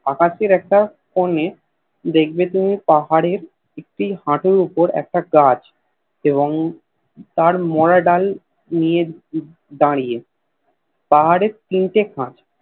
আকাশের একটা কোণে দেখবে তুমি পাহাড়ের একটি হাটুর উপর একটি গাছ এবং তার মোরা ডাল নিয়ে দাড়িয়ে পাহাড়ের তিন টে খাঁজ